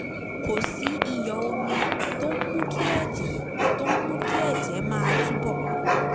kò sí ìyọ̀ omi tó ń mú kí ẹ̀jẹ̀ tó ń mú kí ẹ̀jẹ̀ máa túbọ̀